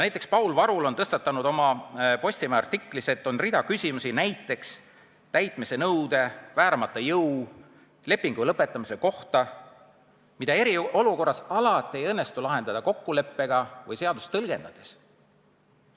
Näiteks on Paul Varul tõstatanud Postimehes ilmunud artiklis rea küsimusi täitmise nõude, vääramatu jõu ja lepingu lõpetamise kohta, mida eriolukorras ei õnnestu alati lahendada kokkuleppe teel või seadust tõlgendades.